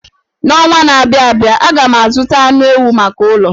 N'ọnwa na-abịa abịa, aga m azụta anụ ewu maka ụlọ.